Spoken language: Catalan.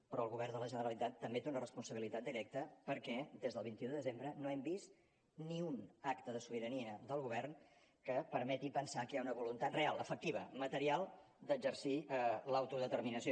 però el govern de la generalitat també té una responsabilitat directa perquè des del vint un de desembre no hem vist ni un acte de sobirania del govern que permeti pensar que hi ha una voluntat real efectiva material d’exercir l’autodeterminació